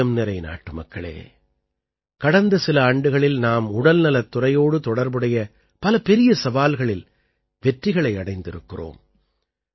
என் இதயம் நிறை நாட்டுமக்களே கடந்த சில ஆண்டுகளில் நாம் உடல்நலத் துறையோடு தொடர்புடைய பல பெரிய சவால்களில் வெற்றிகளை அடைந்திருக்கிறோம்